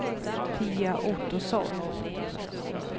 Pia Ottosson